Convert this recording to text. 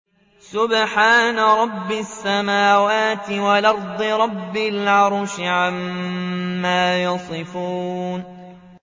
سُبْحَانَ رَبِّ السَّمَاوَاتِ وَالْأَرْضِ رَبِّ الْعَرْشِ عَمَّا يَصِفُونَ